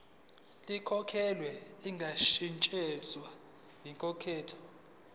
likhokhelwe lingashintshwa yinkantolo